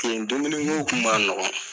Kelen dumuni ko kun ma nɔgɔn.